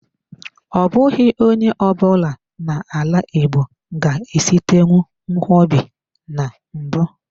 Ọ bụghị onye ọ bụla na-ala igbo ga-esitenwu nkwobi na mbụ.